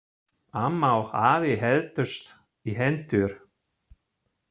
Amma og afi héldust í hendur.